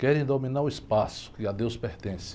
Querem dominar o espaço que a Deus pertence.